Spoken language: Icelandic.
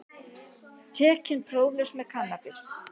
Tekinn próflaus með kannabis